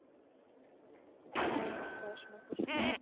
হ্যাঁ, পড়াশোনা করছি।